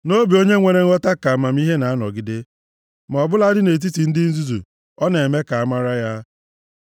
Nʼobi onye nwere nghọta ka amamihe na-anọgide, ma ọ bụladị nʼetiti ndị nzuzu ọ na-eme ka amara ya.